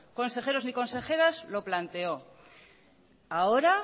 consejeros ni consejeras lo planteó ahora